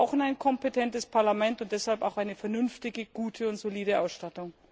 Wir brauchen ein kompetentes Parlament und deshalb auch eine vernünftige, gute und solide Ausstattung.